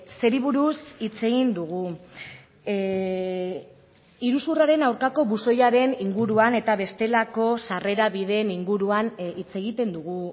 zeri buruz hitz egin dugu iruzurraren aurkako buzoiaren inguruan eta bestelako sarrera bideen inguruan hitz egiten dugu